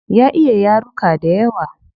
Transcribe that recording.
Ya iya yaruka dayawa